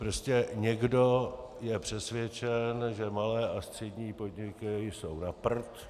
Prostě někdo je přesvědčen, že malé a střední podniky jsou na prd.